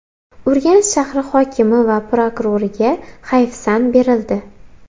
Urganch shahri hokimi va prokuroriga hayfsan berildi.